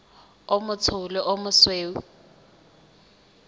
o motsho le o mosweu